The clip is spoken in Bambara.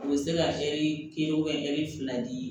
U bɛ se ka ɛri kelen ɛri fila di